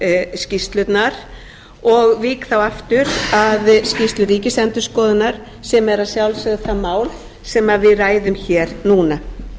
báðar skýrslurnar og vík þá aftur að skýrslu ríkisendurskoðunar sem er að sjálfsögðu það sem við ræðum hér núna